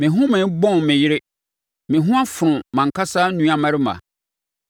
Me home bɔn me yere; me ho afono mʼankasa nuammarima.